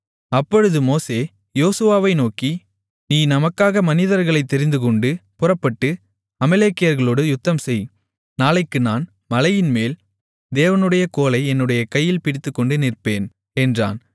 அப்பொழுது மோசே யோசுவாவை நோக்கி நீ நமக்காக மனிதர்களைத் தெரிந்துகொண்டு புறப்பட்டு அமலேக்கியர்களோடு யுத்தம்செய் நாளைக்கு நான் மலைமேல் தேவனுடைய கோலை என்னுடைய கையில் பிடித்துக்கொண்டு நிற்பேன் என்றான்